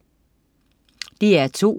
DR2: